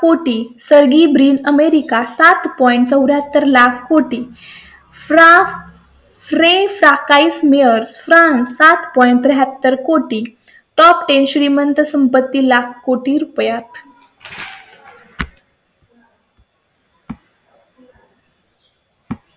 कोटी Sergey Brin America सात point चौर् याहत्तर लाख कोटी फ्रा फ्रे सकाळी स्मिअर फ्रांस सात पौड हत्तर कोटी टॉप दहा श्रीमंत संपत्ती लाख कोटी रुपयां.